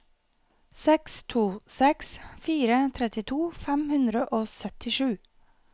seks to seks fire trettito fem hundre og syttisju